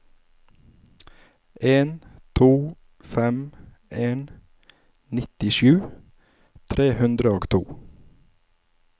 en to fem en nittisju tre hundre og to